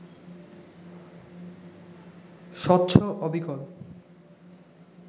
স্বচ্ছ অবিকল